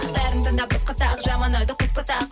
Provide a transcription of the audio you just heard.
бәрін тыңдап босқа тағы жаман ойды қоспа тағы